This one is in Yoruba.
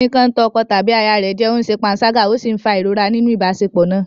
Ọkùnrin kan ń tàn ọkọ tàbí aya rẹ̀ jẹ, ó ṣe panṣágà ó sì ń fa ìrora nínú ìbáṣepọ̀ náà.